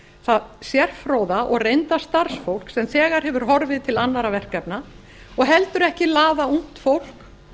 það sérfróða og reynda starfsfólk sem þegar hefur horfið til annarra verkefna og heldur ekki laða ungt fólk